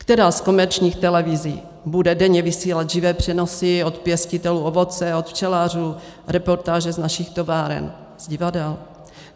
Která z komerčních televizí bude denně vysílat živé přenosy od pěstitelů ovoce, od včelařů, reportáže z našich továren, z divadel?